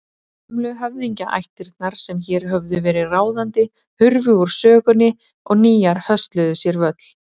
Gömlu höfðingjaættirnar sem hér höfðu verið ráðandi hurfu úr sögunni og nýjar hösluðu sér völl.